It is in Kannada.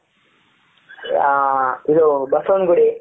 ಹ ಇದು ಬಸವನಗುಡಿ.